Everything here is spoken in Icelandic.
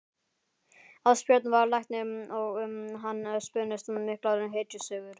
Ásbjörn var læknir og um hann spunnust miklar hetjusögur.